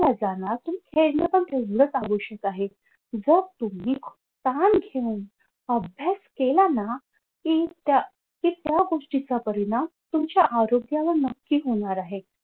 जाणार खेळणं पण तेवढं आवश्यक आहे व तुम्ही ताण घेऊन अभ्यास केला ना कि त्या कि त्या गोष्टीचा परिणाम तुमच्या आरोग्याला नक्कीच होणार आहे.